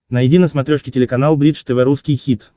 найди на смотрешке телеканал бридж тв русский хит